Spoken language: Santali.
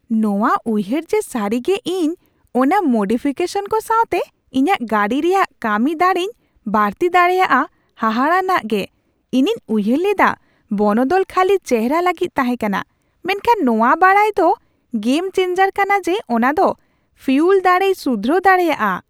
ᱱᱚᱶᱟ ᱩᱭᱦᱟᱹᱨ ᱡᱮ ᱥᱟᱹᱨᱤᱜᱮ ᱤᱧ ᱚᱱᱟ ᱢᱳᱰᱤᱯᱷᱤᱠᱮᱥᱚᱱ ᱠᱚ ᱥᱟᱣᱛᱮ ᱤᱧᱟᱹᱜ ᱜᱟᱹᱰᱤ ᱨᱮᱭᱟᱜ ᱠᱟᱹᱢᱤ ᱫᱟᱹᱲᱮᱧ ᱵᱟᱹᱲᱛᱤ ᱫᱟᱲᱮᱭᱟᱜᱼᱟ ᱦᱟᱦᱟᱲᱟᱱᱟ ᱜᱮ ᱾ ᱤᱧᱤᱧ ᱩᱭᱦᱟᱹᱨ ᱞᱮᱫᱟ ᱵᱚᱱᱚᱫᱚᱞ ᱠᱷᱟᱹᱞᱤ ᱪᱮᱦᱨᱟ ᱞᱟᱹᱜᱤᱫ ᱛᱟᱦᱮᱸᱠᱟᱱᱟ, ᱢᱮᱱᱠᱷᱟᱱ ᱱᱚᱣᱟ ᱵᱟᱰᱟᱭ ᱫᱚ ᱜᱮᱢ ᱪᱮᱱᱡᱟᱨ ᱠᱟᱱᱟ ᱡᱮ ᱚᱱᱟ ᱫᱚ ᱯᱷᱤᱩᱣᱞ ᱫᱟᱲᱮᱭ ᱥᱩᱫᱷᱨᱟᱹᱣ ᱫᱟᱲᱮᱭᱟᱜᱼᱟ ᱾